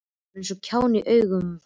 Ég var eins og kjáni í augum hans.